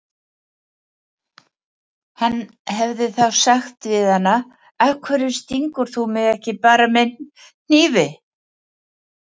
Hann hefði þá sagt við hana: Af hverju stingur þú mig ekki bara með hnífi?